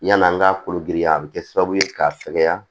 Yan'an ka kolo giriya a bɛ kɛ sababu ye k'a fɛgɛya